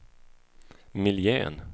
miljön